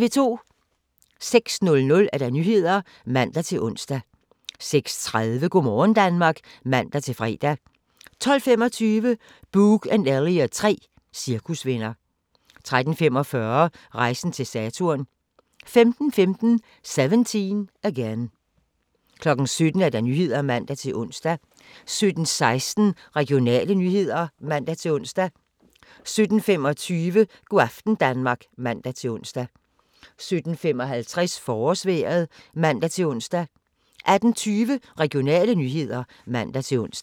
06:00: Nyhederne (man-ons) 06:30: Go' morgen Danmark (man-fre) 12:25: Boog & Elliot 3 - cirkusvenner 13:45: Rejsen til Saturn 15:15: 17 Again 17:00: Nyhederne (man-ons) 17:16: Regionale nyheder (man-ons) 17:25: Go' aften Danmark (man-ons) 17:55: Forårsvejret (man-ons) 18:20: Regionale nyheder (man-ons)